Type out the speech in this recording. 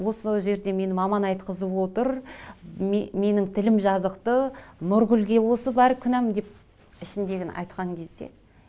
осы жерде мені маман айтқызып отыр менің тілім жазықты нұргүлге осы барлық күнәм деп ішіндегіні айтқан кезде